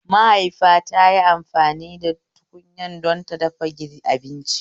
Mahaifita tayi amfani da tukunya don ta dafa abinci